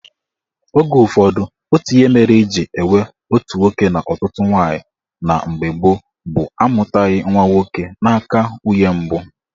Oge ụfọdụ, otu ihe mere eji enwe otu nwoke na ọtụtụ nwaanyị na mgbe gboo bụ amụtaghị nwa nwoke n'aka nwunye mbụ